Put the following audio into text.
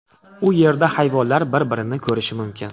U yerda hayvonlar bir-birini ko‘rishi mumkin.